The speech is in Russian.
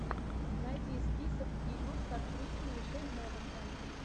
найди список фильмов с актрисой мишель монахэн